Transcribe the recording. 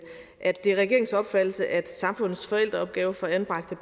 at det er regeringens opfattelse at samfundets forældreopgave for anbragte